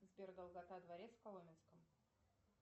сбер долгота дворец в коломенском